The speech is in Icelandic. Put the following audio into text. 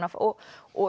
og